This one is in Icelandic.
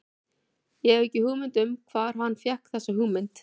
Ég hef ekki hugmynd um það hvar hann fékk þessa hugmynd.